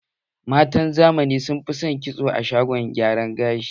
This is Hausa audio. Matan zamani son fi son kitso a shagon gyara gashi